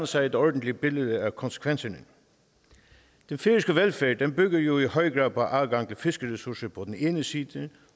sig et ordentligt billede af konsekvenserne den færøske velfærd bygger jo i høj grad på adgang til fiskeressourcer på den ene side